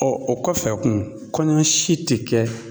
o kɔfɛ kun kɔɲɔ si te kɛ